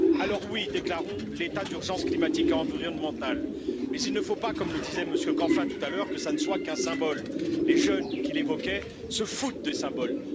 Alors, déclarons l'état d'urgence climatique et environnementale, mais il ne faut pas comme le disait M. Canfin tout à l'heure que ce ne soit qu'un symbole. Les jeunes qu'il évoquait se moquent des symboles.